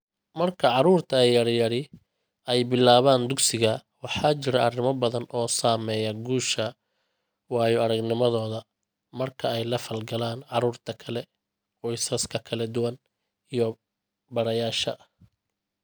Marka carruurta yaryari ay bilaabaan dugsiga, waxaa jira arrimo badan oo saameeya guusha waayo-aragnimadooda marka ay la falgalaan carruurta kale, qoysaska kala duwan, iyo barayaasha.